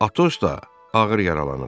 Atos da ağır yaralanıb.